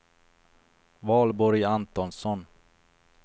Valborg Antonsson